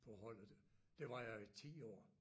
På holdet der var jeg 10 år